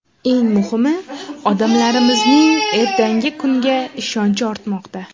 Eng muhimi, odamlarimizning ertangi kunga ishonchi ortmoqda.